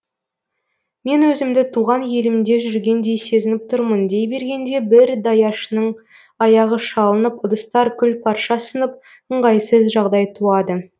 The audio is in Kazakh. мен өзімді туған елімде жүргендей сезініп тұрмын дей бергенде бір даяшының аяғы шалынып ыдыстар күл парша сынып ыңғайсыз жағдай туады